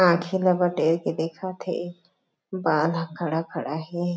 आँखी ला बटेर के देखत हे बाल ह खड़ा-खड़ा हे।